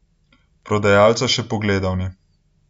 Prodajalca še pogledal ni.